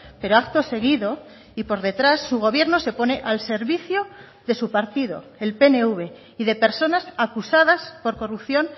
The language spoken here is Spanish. pero acto seguido y por detrás su gobierno se pone al servicio de su partido el pnv y de personas acusadas por corrupción